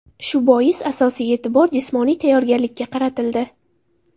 Shu bois asosiy e’tibor jismoniy tayyorgarlikka qaratildi.